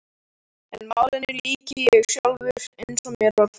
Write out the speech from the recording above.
En málinu lýk ég sjálfur, eins og mér var falið.